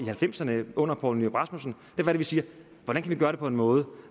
halvfemserne under poul nyrup rasmussen vi siger hvordan kan vi gøre det på en måde